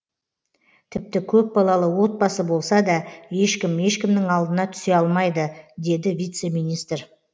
тіпті көпбалалы отбасы болса да ешкім ешкімнің алдына түсе алмайды деді вице министр